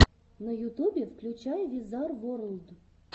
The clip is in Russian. на ютубе включай визар ворлд